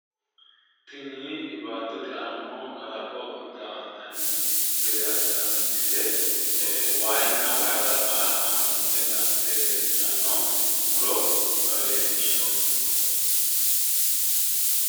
Tini baattote aana noo kalaqo daa"antanni gede assitanno misile wayinna wayi qarqara haanjidhe latte leeltanno muro leellishshanno.